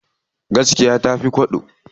Gaskiya tafi kwabo.